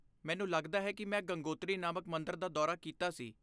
ਮੈਨੂੰ ਲੱਗਦਾ ਹੈ ਕਿ ਮੈਂ ਗੰਗੋਤਰੀ ਨਾਮਕ ਮੰਦਰ ਦਾ ਦੌਰਾ ਕੀਤਾ ਸੀ।